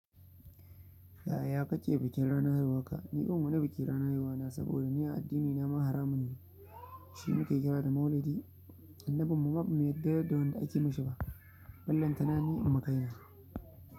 Ya ya kake bikin ranar haihu warka ni ban wani biki ranar haihuwa na saboda ni a addini na ma haramun ne shi muke kira da maulidi. Annabin mu ma bai yadda da wanda ake yi mishi ba. Ballan tana ni in na kai na.